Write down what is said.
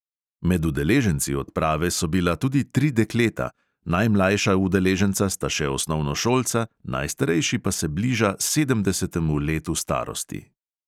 Med udeleženci odprave so bila tudi tri dekleta, najmlajša udeleženca sta še osnovnošolca, najstarejši pa se bliža sedemdesetemu letu starosti.